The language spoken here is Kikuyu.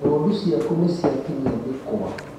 Ng'ondu ciaku nĩciatinia mĩkũa